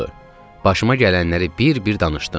Başıma gələnləri bir-bir danışdım.